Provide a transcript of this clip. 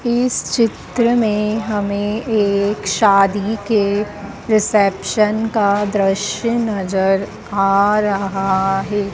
इस चित्र में हमें एक शादी के रिसेप्शन का दृश्य नजर आ रहा है।